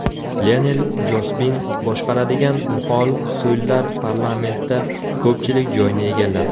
Lionel Jospin boshqaradigan muxolif so‘llar parlamentda ko‘pchilik joyni egalladi.